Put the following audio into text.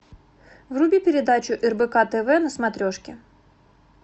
вруби передачу рбк тв на смотрешке